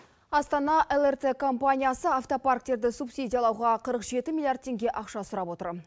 астана лрт компаниясы автопарктерді субсидиялауға қырық жеті милиард тенге ақша сұрап отыр